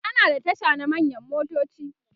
ana da Tasha na manyan motoci